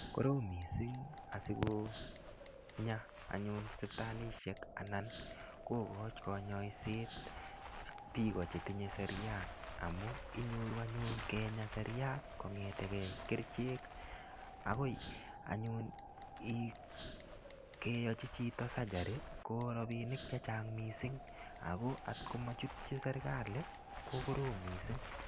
Korom mising' asikonya anyun sipitalishek anan kokochi konyoiset biko chetinyei seriat amu inyoru anyun Kenya seriat kong'etengei kerichek akoi anyun keyochi chito surgery ko robinik chechang' mising' ako atkomachutchi serikali kokorom mising'